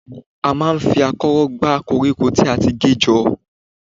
A máa ń fi akọ́rọ́ gbá koríko tí a ti gé jọ.